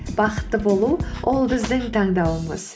бақытты болу ол біздің таңдауымыз